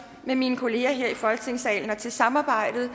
med mine kolleger her i folketingssalen og til samarbejdet